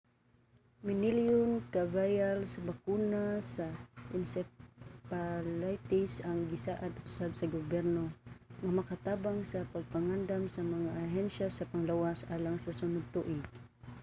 minilyon ka vial sa bakuna sa encephalitis ang gisaad usab sa gobyerno nga makatabang sa pagpangandam sa mga ahensya sa panglawas alang sa sunod tuig